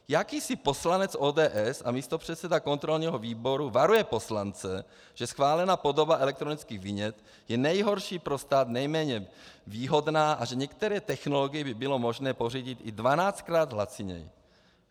Jakýsi poslanec ODS a místopředseda kontrolního výboru varuje poslance, že schválená podoba elektronických vinět je nejhorší pro stát, nejméně výhodná a že některé technologie by bylo možné pořídit i dvanáctkrát laciněji.